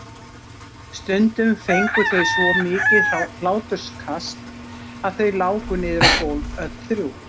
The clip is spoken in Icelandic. Stundum fengu þau svo mikið hláturskast að þau láku niður á gólf öll þrjú.